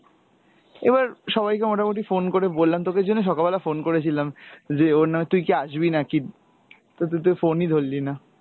এবার সবাইকে মোটামটি phone করে বললাম, তোকে ওইজন্য সকালবেলা phone করেছিলাম যে ওর তুই কি আসবি নাকি? তো তুই তো phone ই ধরলি না।